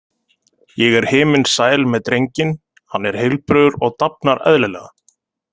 Ég er himinsæl með drenginn, hann er heilbrigður og dafnar eðlilega.